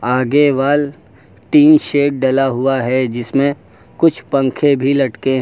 आगे wall tin shed डला हुआ है जिसमें कुछ पंखे भी लटके हैं।